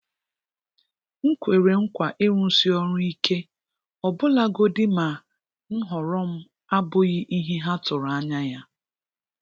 M kwere nkwa ịrụsi ọrụ ike, ọbụlagodi ma nhọrọ m abụghị ihe ha tụrụ anya ya.